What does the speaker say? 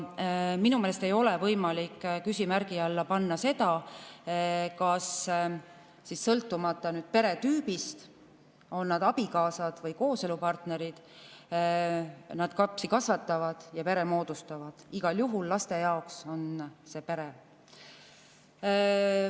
Minu meelest ei ole võimalik küsimärgi alla panna seda, sõltumata peretüübist, et on need inimesed abikaasad või kooselupartnerid, nad kasvatavad lapsi ja moodustavad pere, igal juhul laste jaoks on see pere.